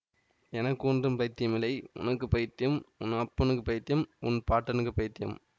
எனக்கு ஒன்றும் பைத்தியமில்லை உனக்கு பைத்தியம் உன் அப்பனுக்குப் பைத்தியம் உன் பாட்டனுக்குப் பைத்தியம்